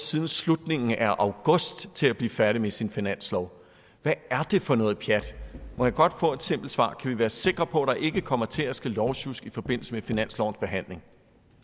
siden slutningen af august til at blive færdig med sin finanslov hvad er det for noget pjat må jeg godt få et simpelt svar kan vi være sikre på at der ikke kommer til at ske lovsjusk i forbindelse med finanslovens behandling